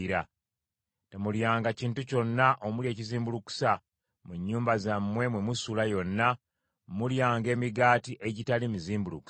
Temulyanga kintu kyonna omuli ekizimbulukusa; mu nnyumba zammwe mwe musula yonna, mulyanga emigaati egitali mizimbulukuse.”